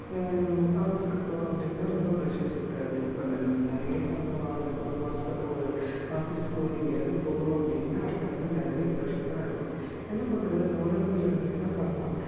அஹ் office க்கு போறோம் அப்டினா ரொம்ப pressure இருக்காது. இப்போ நெரையா சம்பளம் வாங்குறதுக்கு ஒரு office கோ எங்கயாவது போறோம் அப்டினா அதுல வந்து நெரையா pressure இருக்கும் என்ன பண்ணுறது இந்த உலகத்துல என்ன பண்ணலாம்